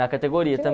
categoria